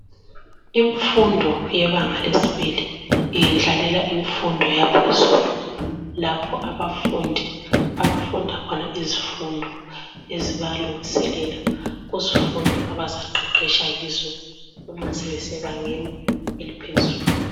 Imfundo yebanga lesibili yendlalela Imfundo yaphezelu lapho abafundi abafunda khona izifundo ezibalungiselela kuzifundo abaqeqesha kizo uma sebesebangeni eliphezulu.